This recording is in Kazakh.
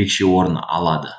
ерекше орын алды